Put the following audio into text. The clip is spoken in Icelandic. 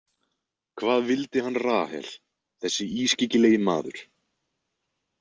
Hvað vildi hann Rahel, þessi ískyggilegi maður?